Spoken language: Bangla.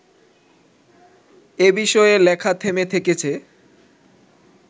এ বিষয়ে লেখা থেমে থেকেছে